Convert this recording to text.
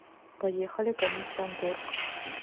поехали комиссионторг